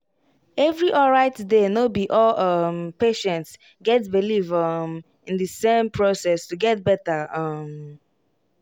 every alright day no be all um patients get believe um in the same process to get better um